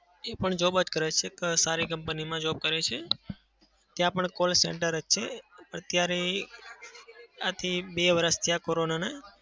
એ પણ job જ કરે છે. સારી company માં job કરે છે. ત્યાં પણ call center જ છે. અત્યારે આથી બે વર્ષ થયા કોરોનાનાં.